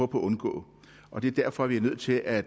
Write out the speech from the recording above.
på at undgå og det er derfor vi er nødt til at